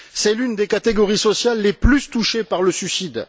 C'est l'une des catégories sociales les plus touchées par le suicide.